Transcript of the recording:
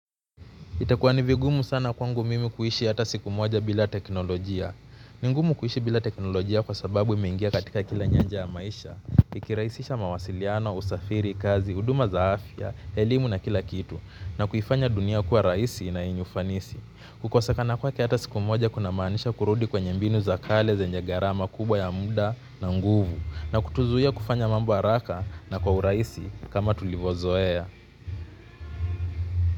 Itakuwa ni vigumu sana kwangu mimi kuishi hata siku moja bila teknolojia ni ngumu kuishi bila teknolojia kwa sababu imeingia katika kila nyaja ya maisha ikirahisisha mawasiliano, usafiri, kazi, huduma za afya, elimu na kila kitu. Na kuifanya dunia kuwa rahisi na yenye ufanisi. Kukosekana kwake hata siku moja kuna maanisha kurudi kwenye mbinu za kale zenye gharama kubwa ya muda na nguvu. Na kutuzuiya kufanya mambo haraka na kwa urahisi kama tulivyo zoea.